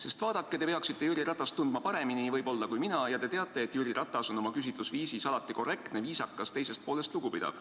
Sest vaadake, te peaksite Jüri Ratast tundma võib-olla paremini kui mina ja te teate, et Jüri Ratas on oma küsitlusviisis alati korrektne, viisakas, teisest poolest lugupidav.